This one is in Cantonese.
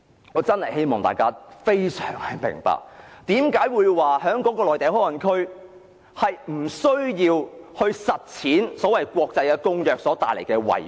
我希望大家明白內地口岸區不實施有關國際公約所帶來的遺禍。